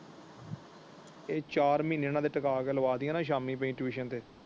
ਇਹ ਚਾਰ ਮਹੀਨੇ ਇਹਨਾਂ ਦੇ ਟੀਕਾ ਕੇ ਲਵਾਂ ਦਈਏ ਨਾ ਸ਼ਾਮੀ ਬਾਈ ਟਿਊਸ਼ਨ ਤੇ।